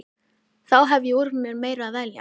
Þá hef ég úr meiru að velja.